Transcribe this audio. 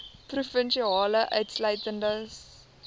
provinsie insluitende saoglande